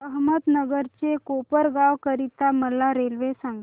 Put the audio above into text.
अहमदनगर ते कोपरगाव करीता मला रेल्वे सांगा